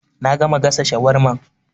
Na gama gasa shawarman